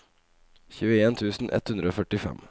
tjueen tusen ett hundre og førtifem